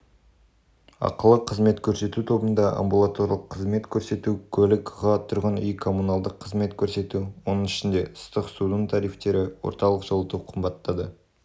ақылы қызмет көрсету тобында амбулаторлық қызмет көрсету көлік ға тұрғын үй-коммуналдық қызмет көрсету оның ішінде ыстық судың тарифтері орталық жылыту қымбаттады